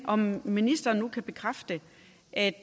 om ministeren nu kan bekræfte at